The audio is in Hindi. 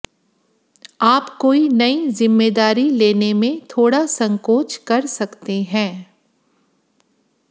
आप कोई नई जिम्मेदारी लेने में थोड़ा संकोच कर सकते हैं